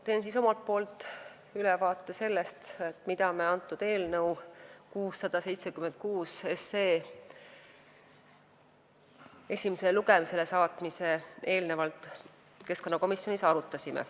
Teen omalt poolt ülevaate sellest, mida me enne eelnõu 676 esimesele lugemisele saatmist keskkonnakomisjonis arutasime.